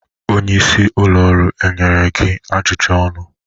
Onye isi ụlọ ọrụ nyere gị ajụjụ ọnụ?